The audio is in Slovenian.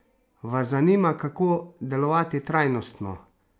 Vas zanima, kako delovati trajnostno?